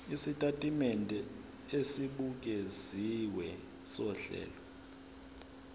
isitatimende esibukeziwe sohlelo